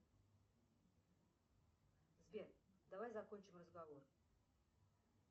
сбер давай закончим разговор